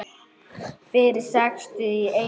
Fyrir sextíu og einu ári.